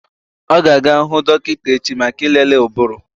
Ọ ga-aga hụ dọkịta echi maka ịlele ụbụrụ.